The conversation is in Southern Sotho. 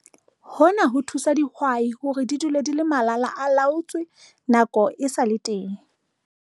Hona ho thusa dihwai hore di dule di le malala-a-laotswe nako e sa le teng.